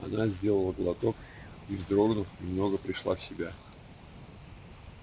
она сделала глоток и вздрогнув немного пришла в себя